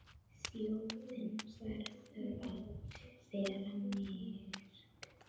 Þjóðin verður að vera virk.